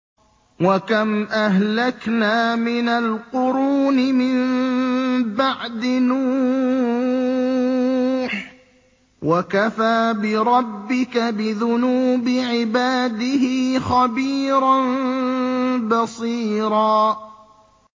وَكَمْ أَهْلَكْنَا مِنَ الْقُرُونِ مِن بَعْدِ نُوحٍ ۗ وَكَفَىٰ بِرَبِّكَ بِذُنُوبِ عِبَادِهِ خَبِيرًا بَصِيرًا